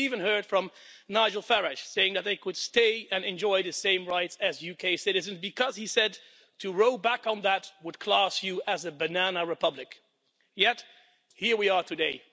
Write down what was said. And we even heard from Nigel Farage, saying that they could stay and enjoy the same rights as UK citizens because, he said, to row back on that would class you as a banana republic. Yet here we are today.